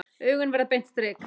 Augun verða beint strik.